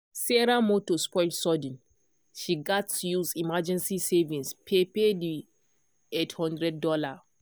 sarah motor spoil sudden she gatz use emergency savings pay pay the $800.